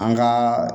An ka